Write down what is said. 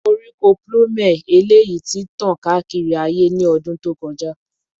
Koríko plume eleyi ti tan kaakiri aaye ni ọdun to kọja